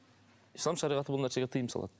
ислам шариғаты бұл нәрсеге тыйым салады